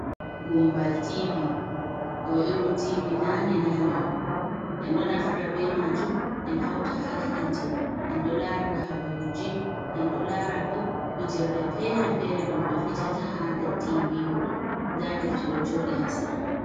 Gumbal tivi, ɗo irin gumbal tivi nane - nane on, en do naftira be majum en hauta ha hiite en ɗo larira habaruji, en do lara bo fijirle fere - fere dum be fijata ha der tivi ruɗo, da defte do jodi ha sera mai.